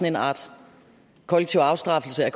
en art kollektiv afstraffelse af